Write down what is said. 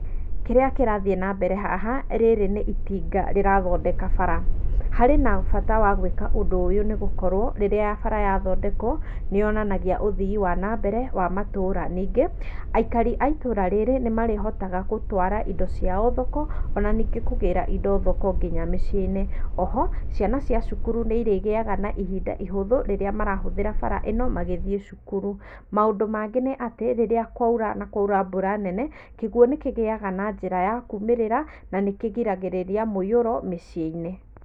Kĩrĩa kĩrathiĩ na mbere haha rĩrĩ nĩ itinga rĩrathondeka mbara, harĩ na bata wa gwĩka ũndũ ũyũ nĩ gũkorwo rĩrĩa bara yathondekwa nĩ yonanagia ũthii wanambere wa matũra, ningĩ aikari aitũra rĩrĩ nĩmarĩhotaga gũtwara indo ciao thoko ona ningĩ kũgĩra thoko nginya mĩciĩinĩ oho ciana cia cukuru nĩrĩgĩaga na ihinda ihũthu rĩrĩa marahũthĩra bara ĩno magĩthiĩ cukuru. Maũndũ mangĩ nĩ atĩ rĩria kwaura na kwaura mbura nene kĩguo nĩkĩgĩaga na njĩra ya kumĩrira na nĩkĩgiragirĩria mũiũro mĩcĩinĩ.